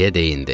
Deyə deyindi.